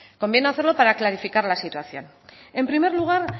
conviene hacerlo para clarificar la situación en primer lugar